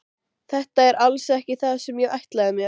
Þetta er alls ekki það sem ég ætlaði mér.